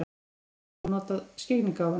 Geturðu þá notað skyggnigáfuna?